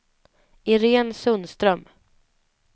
Irene Sundström